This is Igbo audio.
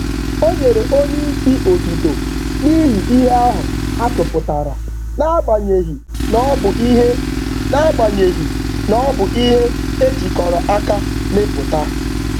Ọ nyere oga otuto zuru oke maka nsonaazụ, n’agbanyeghị na ọ bụ mbọ otu. um